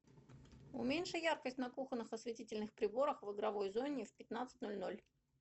уменьши яркость на кухонных осветительных приборах в игровой зоне в пятнадцать ноль ноль